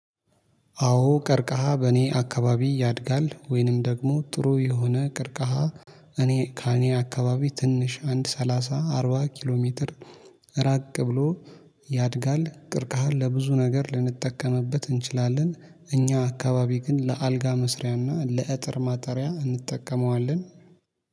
አዎ ቀርቃሃ በእኔ አካባቢ ያድጋል ወይንም ደግሞ ጥሩ የሆነ ቀርቀሃ እኔ ከእኔ አካባቢ ትንሽ አንድ ሰላሳ አርባ ኪሎ ሜትር እራቅ ብሎ ያድጋል። ቀርቀሃን ለብዙ ነገር ልንጠቀምበት እንችላለን። እኛ አካባቢ ግን ለአልጋ መስሪያና ለእጥር ማጠሪያ እንጠቀመዋለን